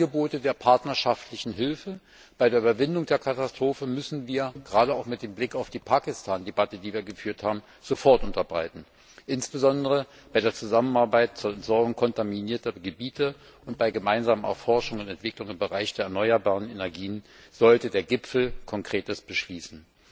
Angebote der partnerschaftlichen Hilfe bei der Überwindung der Katastrophe müssen wir gerade auch mit Blick auf die Pakistan Debatte, die wir geführt haben sofort unterbreiten. Insbesondere bei der Zusammenarbeit zur Sanierung kontaminierter Gebiete und bei gemeinsamen Erforschungen und Entwicklungen im Bereich der erneuerbaren Energie sollte der Gipfel Konkretes beschließen.